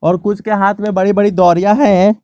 और कुछ के हाथ में बड़ी बड़ी दौरिया हैं।